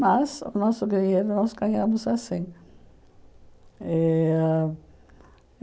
Mas o nosso dinheiro nós ganhamos assim. Eh